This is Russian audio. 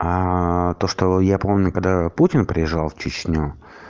то что я помню когда путин приезжал в чечню